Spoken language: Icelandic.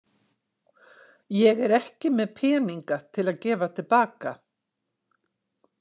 Ég er ekki með peninga til að gefa til baka.